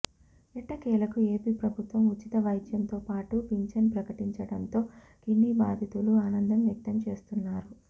ఎట్టకేలకు ఏపి ప్రభుత్వం ఉచిత వైద్యంతో పాటు పింఛన్ ప్రకటించడంతో కిడ్నీ బాధితులు ఆనందం వ్యక్తం చేస్తున్నారు